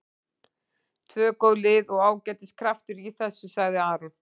Tvö góð lið og ágætis kraftur í þessu, sagði Aron.